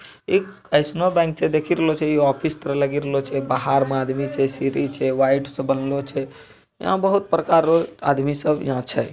एक एसनो बैंक छै। देखी रलो छै इ ऑफिस तरह लगी रलो छै। बहार म आदमी छे सीढ़ी छे वाइट - सा बनलो छे। यहाँ बहुत प्रकार रो आदमी सब यहाँ छै ।